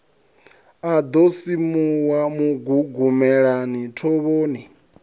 a ḓo simuwa mugugumelani thovhoni